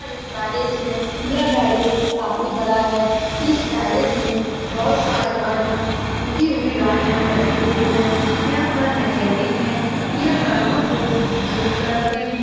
यहाँ एक गेराज है। यह गेराज काफी बड़ा है। इस गेराज में बहुत सारी गाड़िया टूटी हुए गाड़िया लगी हुई है। यहाँ पर मेकेनिक है। यह गाडियों को ठीक करते है।